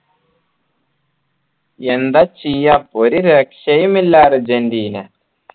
എന്താ ചെയ്യാ ഒരു രക്ഷയും ഇല്ലാ അർജൻറീന